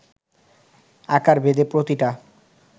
আকারভেদে প্রতিটা